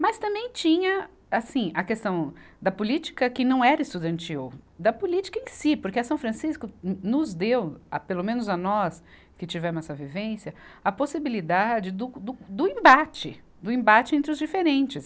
Mas também tinha assim, a questão da política que não era estudantil, da política em si, porque a São Francisco no, nos deu, a pelo menos a nós que tivemos essa vivência, a possibilidade do, do, do embate, do embate entre os diferentes.